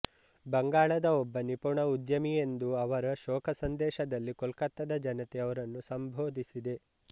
ಬಂಗಾಳದ ಒಬ್ಬ ನಿಪುಣ ಉದ್ಯಮಿಯೆಂದು ಅವರ ಶೋಕಸಂದೇಶದಲ್ಲಿ ಕೋಲ್ಕತ್ತಾದ ಜನತೆ ಅವರನ್ನು ಸಂಬೋಧಿಸಿದೆ